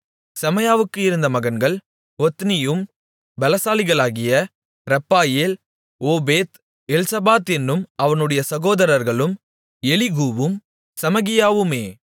செமாயாவுக்கு இருந்த மகன்கள் ஒத்னியும் பெலசாலிகளாகிய ரெப்பாயேல் ஓபேத் எல்சபாத் என்னும் அவனுடைய சகோதரர்களும் எலிகூவும் செமகியாவுமே